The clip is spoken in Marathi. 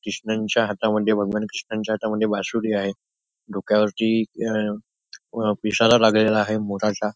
कृष्णांच्या हातामध्ये भगवान कृष्णांच्या हातामध्ये बासुरी आहे डोक्यावरती अं व पिसारा लागलेला आहे मोराचा.